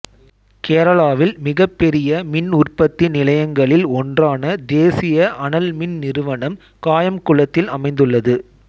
கேரளாவில் மிக பெரிய மின் உற்பத்தி நிலையங்களில் ஒன்றான தேசிய அனல் மின் நிறுவனம் காயம்குளத்தில் அமைந்துள்ளது